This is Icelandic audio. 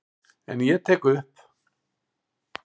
En ég tek upp.